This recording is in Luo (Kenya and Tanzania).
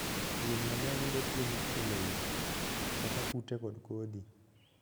Winy mang'eny yudo chiembgi e lowo, kaka kute kod kodhi.